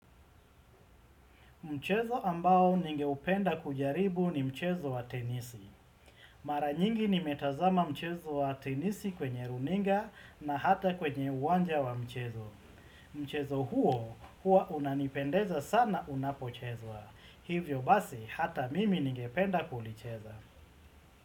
Mchezo ambao ningeupenda kujaribu ni mchezo wa tenisi. Mara nyingi nimetazama mchezo wa tenisi kwenye runinga na hata kwenye uwanja wa michezo. Mchezo huo huwa unanipendeza sana unapochezwa. Hivyo basi hata mimi ningependa kulicheza.